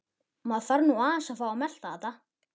Maður þarf nú aðeins að fá að melta þetta.